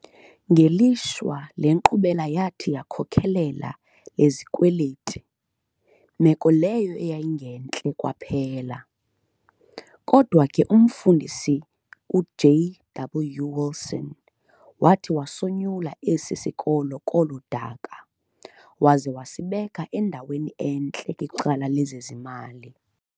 Ngelishwa le nkqubela yathi yakhokelela lezikweleti, meko leyo eyayingentle kwaphela, kodwa ke umfundisi uJ.W wilson wathi wasonyula esi sikolo kolo daka, waza wasibeka endaweni entle kwicala lezezimali.